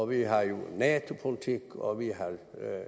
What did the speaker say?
vi har en nato politik og vi har en